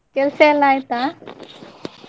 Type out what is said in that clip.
ಕೆಲ್ಸ ಎಲ್ಲ ಆಯ್ತಾ?